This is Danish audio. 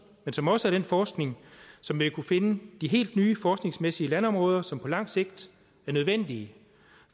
men som også er den forskning som ville kunne finde de helt nye forskningsmæssige landområder som på lang sigt er nødvendige